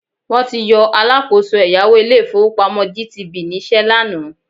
Wọ́n ti yọ alákọ̀ọ́so ẹ̀yáwó ilé-ìfowópamọ́ GTB níṣẹ́ lánàá